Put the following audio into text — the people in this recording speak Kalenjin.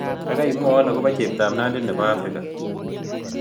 Gaigaimwawon agoboo cheptap nandi ne po africa